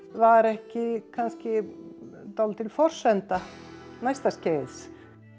var ekki kannski dálítil forsenda næsta skeiðs